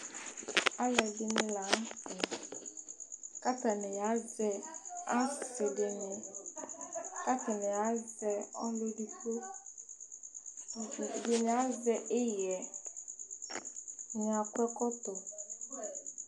Alʋɛdìní la ntɛ kʋ atani azɛ asi dìní kʋ atani azɛ ɔlu ɛdigbo Ɛdiní azɛ iɣɛ Ɛdiní akɔ ɛkɔtɔ